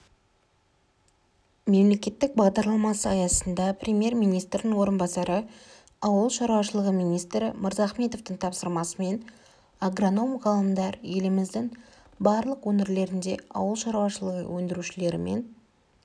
мемлекеттік бағдарламасы аясында премьер-министрінің орынбасары ауыл шаруашылығы министрі мырзахметовтың тапсырмасымен агроном ғалымдар еліміздің барлық өңірлерінде ауыл шаруашылығы өндірушілерімен